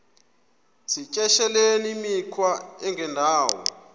yityesheleni imikhwa engendawo